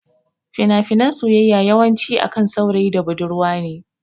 Fina finan soyayya yawan ci akan saurayi da budurwa ne